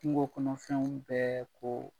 Kungo kɔnɔfɛnw bɛ ko